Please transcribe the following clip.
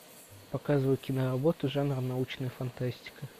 показывай киноработу жанра научная фантастика